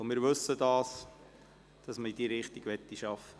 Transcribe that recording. Wir wissen, dass man in diese Richtung arbeiten will.